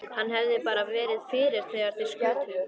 Hann hefði bara verið fyrir þegar þeir skutu.